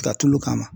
Taa tulu kama